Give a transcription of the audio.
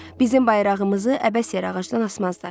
Bizim bayrağımızı əbəs yerə ağacdan asmazlar.